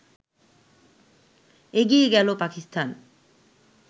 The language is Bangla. এগিয়ে গেল পাকিস্তান